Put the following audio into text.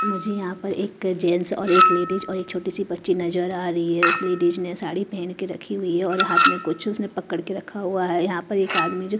मुझे यहां पर एक जेंट्स और एक लेडिस और एक छोटी सी बच्ची नजर आ रही है उस लेडिस ने साड़ी पहन के रखी हुई है और हाथ में कुछ उसने पकड़ के रखा हुआ है यहां पर एक आदमी जो--